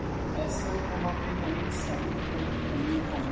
Þess vegna má finna ýmsar útgáfur af gömlum fánum.